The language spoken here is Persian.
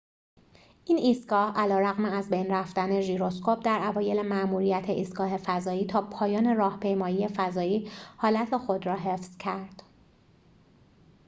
این ایستگاه علیرغم از بین رفتن ژیروسکوپ در اوایل ماموریت ایستگاه فضایی تا پایان راهپیمایی فضایی حالت خود را حفظ کرد